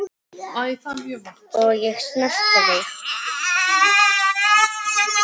Og ég snerti þig.